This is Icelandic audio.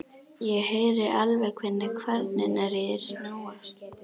Ég heyri alveg hvernig kvarnirnar í þér snúast.